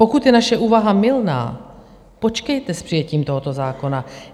Pokud je naše úvaha mylná, počkejte s přijetím tohoto zákona.